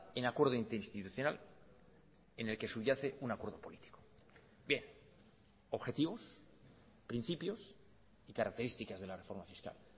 en acuerdo interinstitucional en el que subyace un acuerdo político bien objetivos principios y características de la reforma fiscal